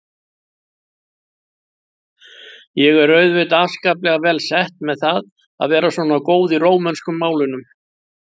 Ég er auðvitað afskaplega vel sett með það að vera svona góð í rómönsku málunum.